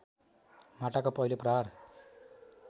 माटाको पहिलो प्रहार